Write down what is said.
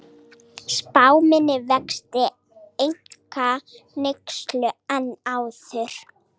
Spá minni vexti einkaneyslu en áður